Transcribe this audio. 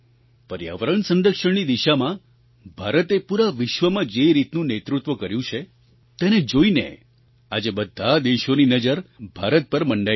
પર્યાવરણ સંરક્ષણની દિશામાં ભારતે પૂરા વિશ્વમાં જે રીતનું નેતૃત્વ કર્યું છે તેને જોઈને આજે બધા દેશોની નજર ભારત પર મંડાયેલી છે